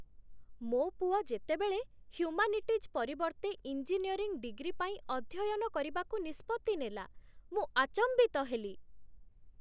ମୋ ପୁଅ ଯେତେବେଳେ ହ୍ୟୁମାନିଟିଜ୍ ପରିବର୍ତ୍ତେ ଇଞ୍ଜିନିୟରିଂ ଡିଗ୍ରୀ ପାଇଁ ଅଧ୍ୟୟନ କରିବାକୁ ନିଷ୍ପତ୍ତି ନେଲା, ମୁଁ ଆଚମ୍ବିତ ହେଲି।